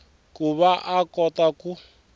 ku va a kota ku